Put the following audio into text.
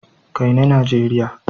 Kai ni Nigeria!